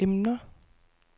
emner